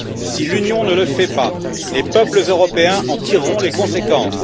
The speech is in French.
Si l'Union ne le fait pas, les peuples européens en tireront les conséquences.